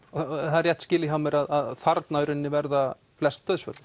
það er rétt skilið hjá mér að þarna verða flest dauðsföllin